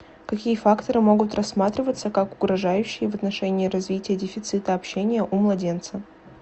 какие факторы могут рассматриваться как угрожающие в отношении развития дефицита общения у младенца